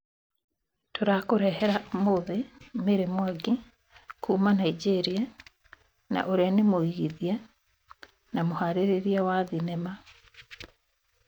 Tũrakũrehera ũmũthĩ Mary Mwangi kuma na Nigeria, na ũrĩa nĩ mũigithia na mũharĩrĩria wa thenema